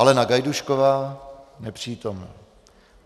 Alena Gajdůšková: Nepřítomna.